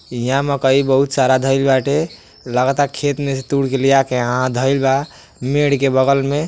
या मकइ बहुत सारा धईल बाटे लगाता खेत में से तुर के लिया के यहाँ धईल बा मेढ के बगल में --